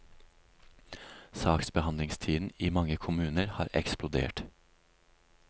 Saksbehandlingstiden i mange kommuner har eksplodert.